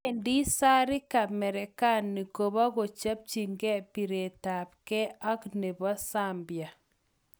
Wendi Zarika Merekani kopokochopchike biretabge ak nebo Zambia